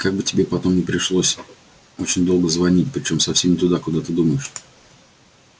как бы тебе не пришлось потом очень долго звонить причём совсем не туда куда ты думаешь